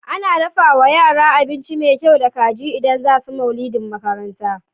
Ana dafawa yara abinci me kyau da kaji idan zasu maulidin makaranta